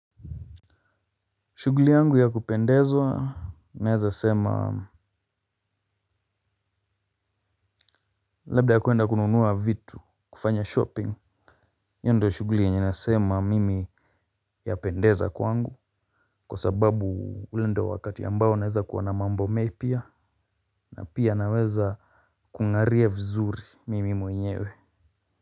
Shughuli yangu ya kupendezwa naweza sema. Labda ya kwenda kununua vitu kufanya shopping. Hio ndio shughuli yenye nasema mimi yapendeza kwangu, kwa sababu ule ndio wakati ambao unaweza kuwa na mambo mapya. Na pia naweza kungaria vizuri mimi mwenyewe.